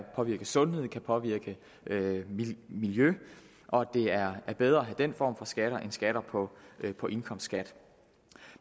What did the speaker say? påvirke sundheden kan påvirke miljøet og det er bedre at have den form for skatter end skatter på på indkomst